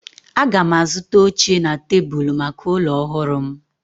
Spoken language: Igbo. Aga m azụta oche na tebụl maka ụlọ ọhụrụ m